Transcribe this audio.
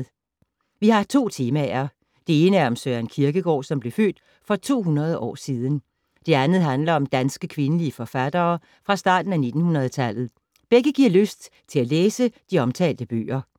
Vi har to temaer. Det ene er om Søren Kierkegaard, som blev født for 200 år siden. Det andet handler om danske kvindelige forfattere fra starten af 1900-tallet. Begge giver lyst til at læse de omtalte bøger.